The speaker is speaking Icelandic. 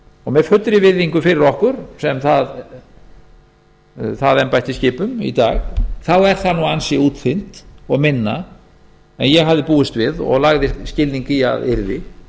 og með fullri virðingu fyrir okkur sem embætti skipum í dag þá er það nú ansi útþynnt og minna en ég hafði búist við og lagði skilning í að yrði